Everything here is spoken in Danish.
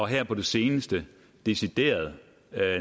her på det seneste decideret